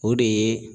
O de ye